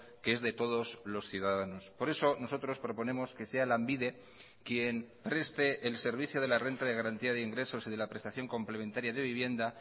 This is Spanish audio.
que es de todos los ciudadanos por eso nosotros proponemos que sea lanbide quien preste el servicio de la renta de garantía de ingresos y de la prestación complementaria de vivienda